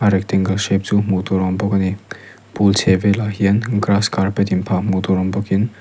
rectangle shape chu hmuh tur a awm bawk ani pool chhehvelah hian grass carpet in phah hmuh tur awm bawkin--